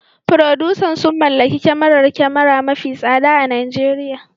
Furodusan sun mallaki kyamarar kyamara mafi tsada a Najeriya